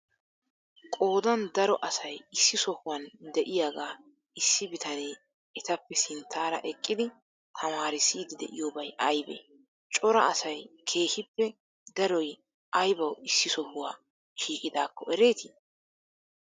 qoodan daro asay issi sohuwan de'iyagaa issi bitanne etappe sinttara eqqidi taamarissiyddi de'iyobay aybee? cora asay keehippe daroy aybawu issi sohuwa shiqidakko ereeti?